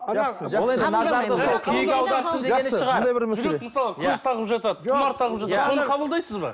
көз тағып жатады тұмар тағып жатады соны қабылдайсыз ба